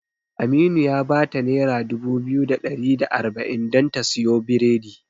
Aminu ya bata nera dubu biyu da ɗari da arba'in don ta siyo biredi.